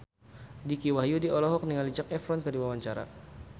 Dicky Wahyudi olohok ningali Zac Efron keur diwawancara